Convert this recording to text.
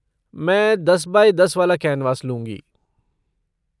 मैं दस बाई दस वाला कैनवास लूँगी।